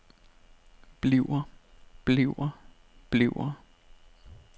bliver bliver bliver